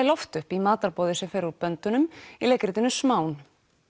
loft upp í matarboði sem fer úr böndunum í leikritinu smán